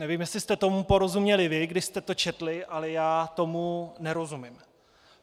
Nevím, jestli jste tomu porozuměli vy, když jste to četli, ale já tomu nerozumím.